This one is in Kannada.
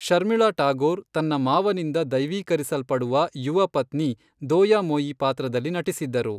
ಶರ್ಮಿಳಾ ಟಾಗೋರ್ ತನ್ನ ಮಾವನಿಂದ ದೈವೀಕರಿಸಲ್ಪಡುವ ಯುವ ಪತ್ನಿ ದೋಯಾಮೊಯಿ ಪಾತ್ರದಲ್ಲಿ ನಟಿಸಿದ್ದರು.